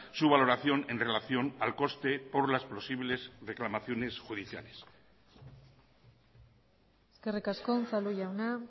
su valoración en relación al coste por las posibles reclamaciones judiciales eskerrik asko unzalu jauna